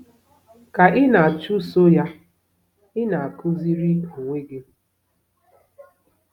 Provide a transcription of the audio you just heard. Ka ị na-achụso ya, ị na-akụziri onwe gị.